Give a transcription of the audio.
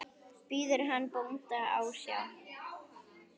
Biður hann nú bónda ásjár.